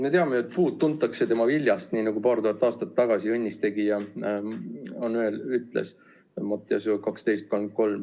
Me teame, et puud tuntakse tema viljast, nii nagu paar tuhat aastat tagasi õnnistegija ütles .